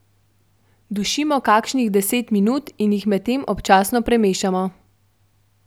Dušimo kakšnih deset minut in jih medtem občasno premešamo.